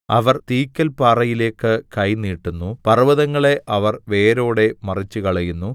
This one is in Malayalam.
അവർ തീക്കൽപാറയിലേക്ക് കൈ നീട്ടുന്നു പർവ്വതങ്ങളെ അവർ വേരോടെ മറിച്ചുകളയുന്നു